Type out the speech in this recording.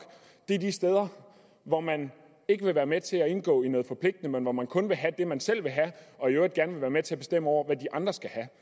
er de steder hvor man ikke vil være med til at indgå i noget forpligtende men hvor man kun vil have det man selv vil have og i øvrigt gerne vil være med til at bestemme over hvad de andre skal have